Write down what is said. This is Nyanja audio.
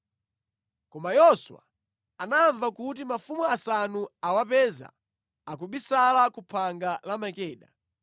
Koma Yoswa anamva kuti mafumu asanu awapeza akubisala ku phanga la Makeda.